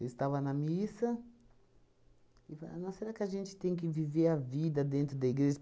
Eu estava na missa e va nossa, será que a gente tem que viver a vida dentro da igreja?